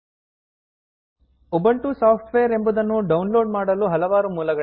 Ubuntu Softwareಉಬಂಟು software ಎಂಬುದನ್ನು download ಮಾಡಲು ಹಲವಾರು ಮೂಲಗಳಿವೆ